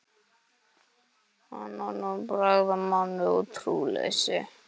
Hann var nú að bregða manni um trúleysi.